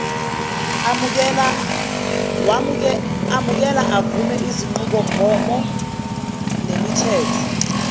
amukela avume izinqubomgomonemithetho